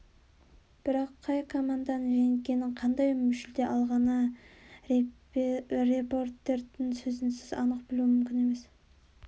бірақ қай команданың жеңгенін қандай жүлде алғанын репортердің сөзінсіз анық білу мүмкін емес